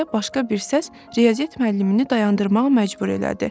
deyə başqa bir səs riyaziyyat müəllimini dayandırmağa məcbur elədi.